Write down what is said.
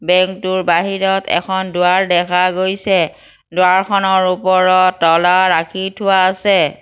Bank টোৰ বাহিৰত এখন দুৱাৰ দেখা গৈছে দুৱাৰখনৰ ওপৰত তলা ৰাখি থোৱা আছে।